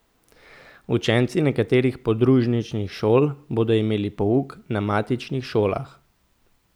Učenci nekaterih podružničnih šol bodo imeli pouk na matičnih šolah.